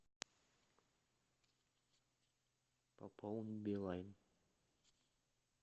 пополни билайн